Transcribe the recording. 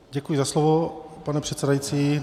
Děkuji za slovo, pane předsedající.